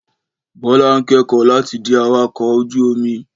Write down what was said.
Bọ́lá ń kẹ́kọ̀ọ́ láti di awakọ̀ ọkọ̀ ojú-omi